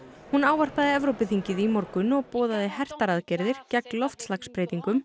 hún ávarpaði Evrópuþingið í morgun og boðaði hertar aðgerðir gegn loftslagsbreytingum